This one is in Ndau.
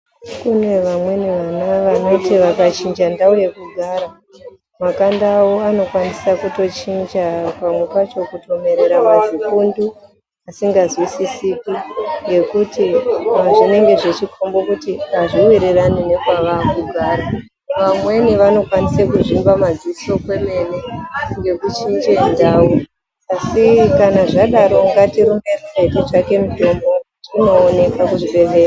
Kune vamweni vana vanoti vakachinja ndau yekugara makanda avo anokwanisa kutochinja pamwe pacho kutomerera mazibundu asingazwisisiki, ngekuti zvinenge zvichikombe kuti azviwirirani nekwavakugara vamweni vanokwanise kuzvimba madziso kwemene ngekuchinje ndau, asi kana zvadaro ngatirumbe titsvake mutombo tinoonekwa kuzvibhehlera.